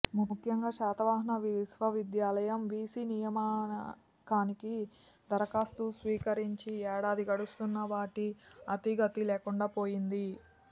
ముఖ్యంగా శాతవాహన విశ్వవిద్యాలయం వీసీ నియామకానికి దరఖాస్తులు స్వీకరించి ఏడాది గడుస్తున్నా వాటి అతీగతీ లేకుండా పోయింది